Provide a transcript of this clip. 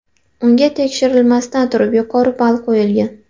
Unga tekshirilmasdan turib yuqori ball qo‘yilgan.